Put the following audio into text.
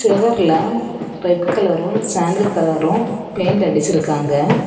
செவர்ல red கலரும் sandal கலரும் paint அடிச்சிருக்காங்க.